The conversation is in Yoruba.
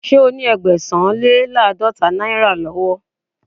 Ṣé o ní to Ẹgbẹ̀sán-le-láàdọ́ta náírà lọ́wọ́?.